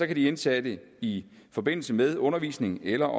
de indsatte i forbindelse med undervisning eller